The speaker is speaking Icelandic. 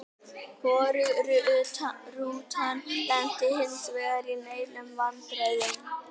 Hvorug rútan lenti hinsvegar í neinum vandræðum.